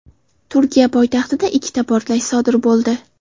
Turkiya poytaxtida ikkita portlash sodir bo‘ldi.